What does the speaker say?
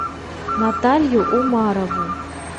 наталью умарову